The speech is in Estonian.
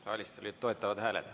Saalis olid toetavad hääled.